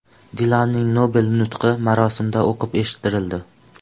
Dilanning Nobel nutqi marosimda o‘qib eshittirildi.